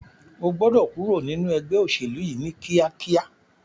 O gbọ́dọ̀ kúrò nínu ẹgbẹ́ òṣèlú yìí ní kíákíá!